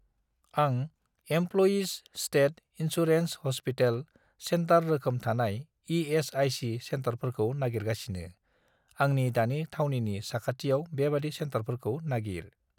आं employees state insurance hospital centre रोखोम थानाय इ.एस.आइ.सि. सेन्टारफोरखौ नागिरगासिनो, आंनि दानि थावनिनि साखाथियाव बेबादि सेन्टारफोरखौ नागिर।